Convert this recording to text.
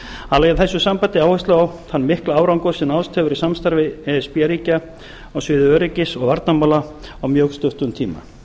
hann lagði í þessu sambandi áherslu á þann mikla árangur sem náðst hefur í samstarfi e s b ríkja á sviði öryggis og varnarmála á mjög stuttum tíma seppo